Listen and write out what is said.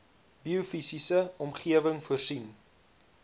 biofisiese omgewing voorsien